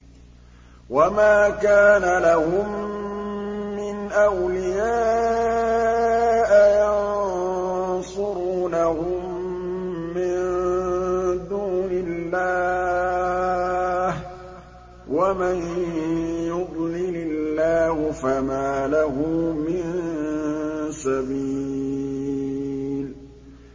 وَمَا كَانَ لَهُم مِّنْ أَوْلِيَاءَ يَنصُرُونَهُم مِّن دُونِ اللَّهِ ۗ وَمَن يُضْلِلِ اللَّهُ فَمَا لَهُ مِن سَبِيلٍ